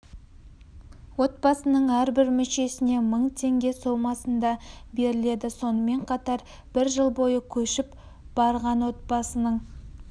отбасының әрбір мүшесіне мың теңге сомасында беріледі сонымен қатар бір жыл бойы көшіп барған отбасының